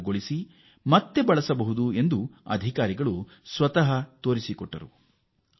ಅವುಗಳನ್ನು ಹೇಗೆ ಖಾಲಿ ಮಾಡುವುದು ಮತ್ತು ಮರು ಬಳಕೆ ಮಾಡುವುದು ಎಂಬುದನ್ನು ತೋರಿಸಲಾಯಿತು